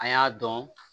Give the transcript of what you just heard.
An y'a dɔn